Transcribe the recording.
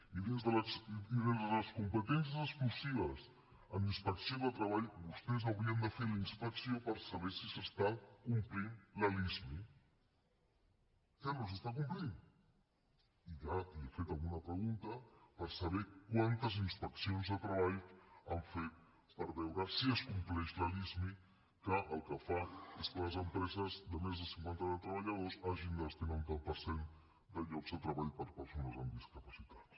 i dins de les competències exclusives en inspecció de treball vostès haurien de fer la inspecció per saber si s’està complint la lismi que no s’està complint i ja li he fet alguna pregunta per saber quantes inspeccions de treball han fet per veure si es compleix la lismi que el que fa és que les empreses de més de cinquanta treballadors hagin de destinar un tant per cent de llocs de treball per a persones amb discapacitats